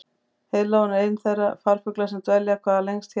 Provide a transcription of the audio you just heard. heiðlóan er einn þeirra farfugla sem dvelja hvað lengst hér á landi